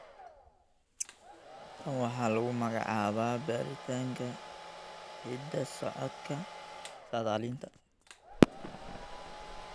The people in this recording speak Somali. Tan waxaa lagu magacaabaa baaritaanka hidda-socodka saadaalinta.